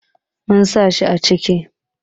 Mun sa shi a kicin